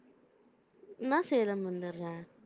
நான் சேலம் வந்திடறேன்.